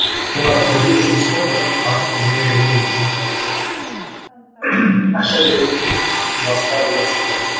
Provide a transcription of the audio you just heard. мен қазір бір де бір жұмысыма бір немен кірмеген екенмін де ақша беріп басқа деген сынды